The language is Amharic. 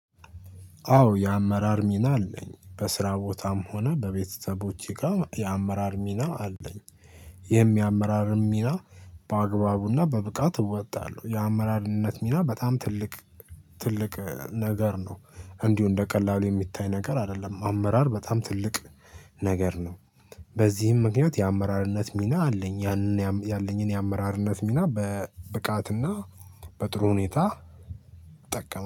አዎ የአመራር ሚና አለኝ በስራ ቦታም ሆነ በቤተተቦቼ ጋር የአመራር ሚና አለኝ። የሄም የአመራርም ሚና በአግባቡና በብቃት እወጣለሁ። የአመራርነት ሚና በጣም ትልቅ ትልቅ ነገር ነው። እንዲሁ እንደ ቀላሉ የሚታይ ነገር አይደለም። አመራር በጣም ትልቅ ነገር ነው። በዚህም ምክንያት የአመራርነት ሚና አለኝ ያንን ያለኝን የአመራርነት ሚና በብቃትና በጥሩ ሁኔታ እጠቀመ